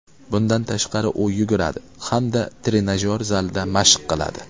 Bundan tashqari, u yuguradi hamda trenajyor zalida mashq qiladi.